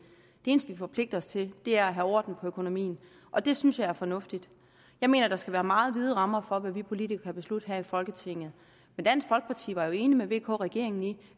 eneste vi forpligter os til er at have orden på økonomien og det synes jeg er fornuftigt jeg mener der skal være meget vide rammer for hvad vi politikere kan beslutte her i folketinget men dansk folkeparti var jo enig med vk regeringen i